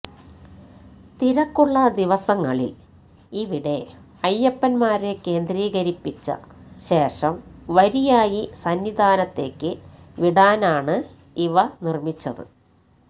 തിരക്കുള്ള ദിവസങ്ങളില് ഇവിടെ അയ്യപ്പന്മാരെ കേന്ദ്രീകരിപ്പിച്ച ശേഷം വരിയായി സന്നിധാനത്തേക്ക് വിടാനാണ് ഇവ നിര്മ്മിച്ചത്